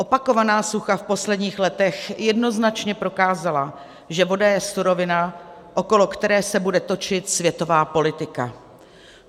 Opakovaná sucha v posledních letech jednoznačně prokázala, že voda je surovina, okolo které se bude točit světová politika.